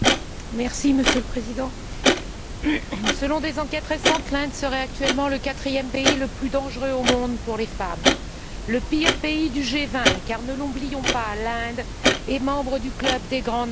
Monsieur le Président, selon des enquêtes récentes, l'Inde serait actuellement le quatrième pays le plus dangereux au monde pour les femmes, le pire pays du G20, car, ne l'oublions pas, l'Inde est membre du club des grandes nations.